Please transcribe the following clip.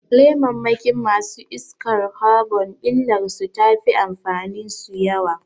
Lemammakin masu iskar kabon illar su tafi amfanin su yawa